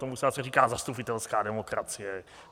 Tomu se zase říká zastupitelská demokracie.